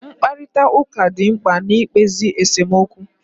Mkparịtaụka dị mkpa na-ikpezi esomokwu